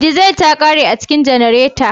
Dizal ta kare a cikin janareta